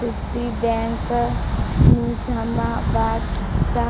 Citibank Nizamabad चा